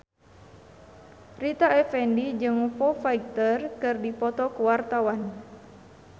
Rita Effendy jeung Foo Fighter keur dipoto ku wartawan